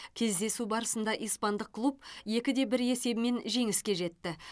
кездесу барысында испандық клуб екі де бір есебімен жеңіске жетті